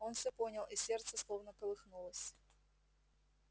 он всё понял и сердце словно колыхнулось